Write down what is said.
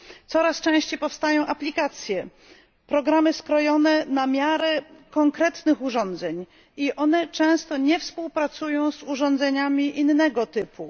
Coraz częściej powstają aplikacje, programy skrojone na miarę konkretnych urządzeń i one często nie współpracują z urządzeniami innego typu.